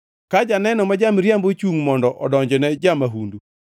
Ka janeno ma ja-miriambo ochungʼ mondo odonjne ja-mahundu,